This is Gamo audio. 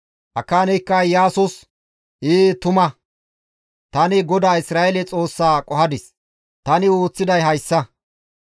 Akaaneykka Iyaasos, «Ee tuma! Tani GODAA Isra7eele Xoossaa qohadis; tani ooththiday hayssa;